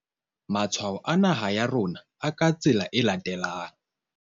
Matshwao a naha ya rona a ka tsela e latelang.